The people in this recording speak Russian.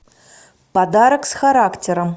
подарок с характером